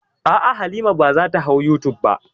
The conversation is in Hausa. A'a, Halima ba za ta hau youtube ba.